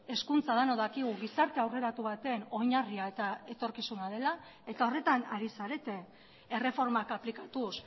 hezkuntza denok dakigu gizarte aurreratu baten oinarria eta etorkizuna dela eta horretan ari zarete erreformak aplikatuz